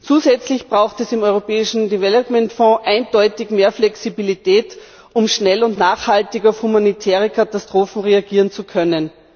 Zusätzlich braucht es im Europäischen Entwicklungsfonds eindeutig mehr Flexibilität, um schnell und nachhaltig auf humanitäre Katastrophen reagieren zu können.